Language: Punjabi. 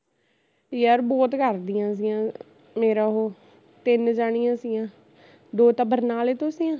ਯਰ ਬਹੁਤ ਕਰਦੀਆ ਸੀਆ, ਮੇਰਾ ਉਹ ਤਿੰਨ ਜਣੀਆ ਸੀਆ, ਦੋ ਤਾਂ ਬਰਨਾਲੇ ਤੋਂ ਸੀਆ